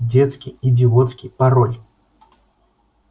детский идиотский пароль